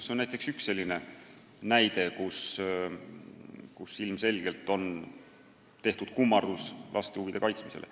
See on üks näide selle kohta, et ilmselgelt on tehtud kummardus laste huvide kaitsmisele.